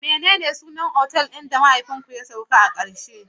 Menene sunan otal ɗin da mahaifinku ya sauka a karshe?